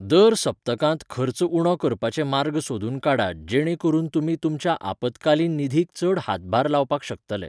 दर सप्तकांत खर्च उणो करपाचे मार्ग सोदून काडात जेणे करून तुमी तुमच्या आपत्कालीन निधीक चड हातभार लावपाक शकतले.